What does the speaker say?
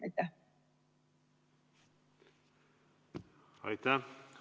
Aitäh!